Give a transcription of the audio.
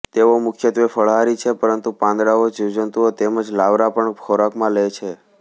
તેઓ મુખ્યત્વે ફળાહારી છે પરંતુ પાંદડાઓ જીવજંતુઓ તેમજ લાર્વા પણ ખોરાકમાં લે છે